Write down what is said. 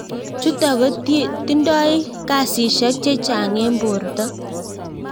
Chutok ko tindoi kasishek chechang ing porto.